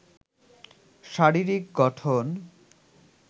শারীরিক গঠন